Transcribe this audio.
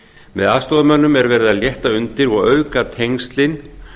með aðstoðarmönnum er verið að létta undir og auka tengslin